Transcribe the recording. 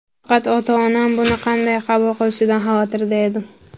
Faqat ota-onam buni qanday qabul qilishidan xavotirda edim.